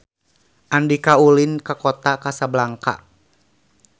Andika ulin ka Kota Kasablanka